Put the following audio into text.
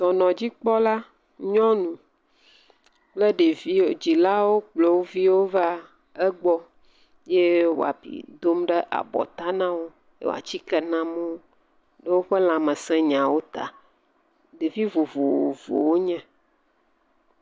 Dɔnɔdzikpɔla nyɔnu kple ɖeviwo, dzilawo kplɔ wo viwo va egbɔ ye wò abi dom ɖe abɔta na wo, wò atike nam wo ɖe woƒe lãmesẽ nyawo ta, ɖevi vovovo wonye.